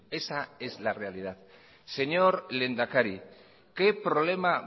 esa es la realidad señor lehendakari qué problema